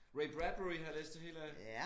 Ray Bradbury har jeg læst det hele af